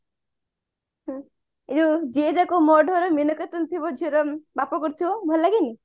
ଏଯୋଉ ଯିଏ ଯାହା କହୁ ମୋର ଢୋ ରେ ମିନକେତନ ଥିବ ଝିଅର ବାପା କରୁଥିବ ଭଲ ଲାଗେନି